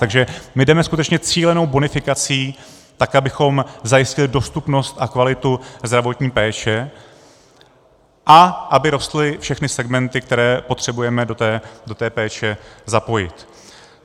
Takže my jdeme skutečně cílenou bonifikací, tak abychom zajistili dostupnost a kvalitu zdravotní péče a aby rostly všechny segmenty, které potřebujeme do té péče zapojit.